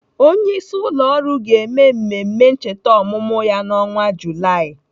Onyeisi ụlọ ọrụ ga-eme mmemme ncheta ọmụmụ ya n'ọnwa Julaị.